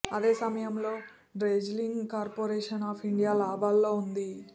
అదే సమయంలో dredging corporation of India లాభాల్లో ఉంది